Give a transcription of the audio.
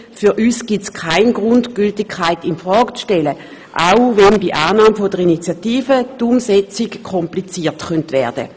Für uns gibt es keinen Grund, die Gültigkeit in Frage zu stellen, auch wenn bei Annahme der Initiative deren Umsetzung kompliziert werden könnte.